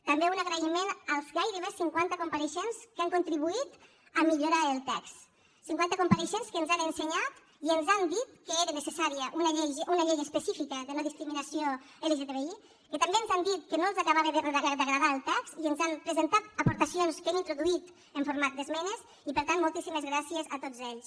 també un agraïment als gairebé cinquanta compareixents que han contribuït a millorar el text cinquanta compareixents que ens han ensenyat i ens han dit que era necessària una llei específica de no discriminació lgtbi que també ens han dit que no els acabava d’agradar el text i ens han presentat aportacions que hem introduït en format d’esmenes i per tant moltíssimes gràcies a tots ells